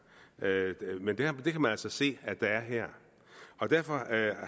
men det kan man altså se at der er her derfor